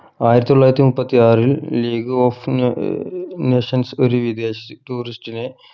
ആയിരത്തി തൊള്ളായിരത്തി മുപ്പത്തിയാറിൽ league of നെ ഏർ nations ഒരു വിദേശി tourist നെ